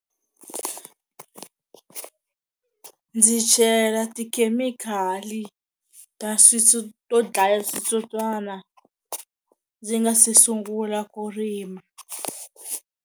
Ndzi chela tikhemikhali ta to dlaya switsotswana ndzi nga se sungula ku rima.